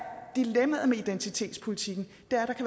dilemmaet med identitetspolitikken